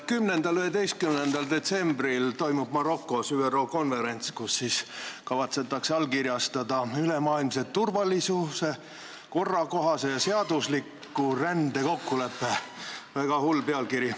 10.–11. detsembril toimub Marokos ÜRO konverents, kus kavatsetakse allkirjastada ülemaailmse turvalise, korrakohase ja seadusliku rände kokkulepe – väga hull pealkiri.